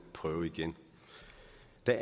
den